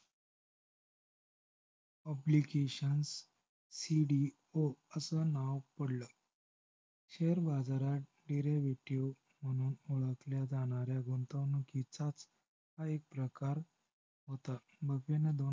obligationcdo असं नाव पडलं. share बाजारात derivative म्हणून ओळखल्या जाणार्‍या गुंतवणुकीचाच हा एक प्रकार होता. बफेने